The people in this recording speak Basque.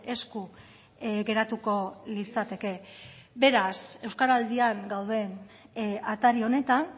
esku geratuko litzateke beraz euskaraldian gauden atari honetan